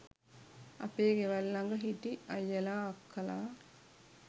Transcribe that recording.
අපේ ගෙවල් ළඟ හිටි අයියලා අක්කලා